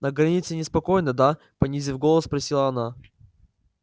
на границе неспокойно да понизив голос спросила она